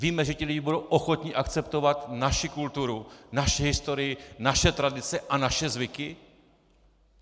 Víme, že ti lidé budou ochotni akceptovat naši kulturu, naši historii, naše tradice a naše zvyky?